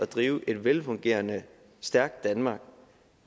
drive et velfungerende stærkt danmark